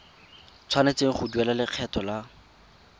tshwanetse go duela lekgetho la